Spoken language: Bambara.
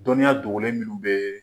Dɔnniya dogolen minnu bɛ ye.